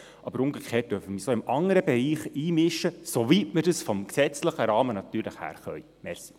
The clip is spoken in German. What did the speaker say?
Aber umgekehrt dürfen wir uns auch im anderen Bereich einmischen, soweit wir dies vom gesetzlichen Rahmen her tun können.